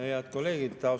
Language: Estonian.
Head kolleegid!